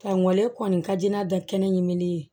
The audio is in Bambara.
Ka ŋɔlɛ kɔni ka di n'a da kɛnɛ ɲinini ye